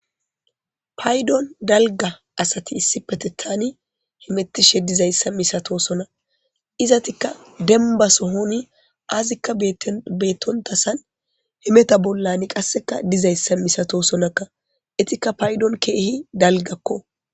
Paydon dalga asati issipete tani himettishe dizayssa misatosona izatikka demba sohoni azikka beettontasan himeta bollan qasseka dizayssa misatosonakka itikka paydon keehi dalgakko.